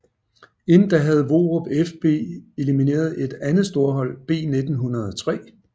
Inden da havde Vorup FB elimineret et andet storhold B 1903